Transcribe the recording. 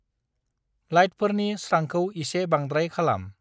लाइटफोरनि स्रांखौ एसे बांद्राय खालाम।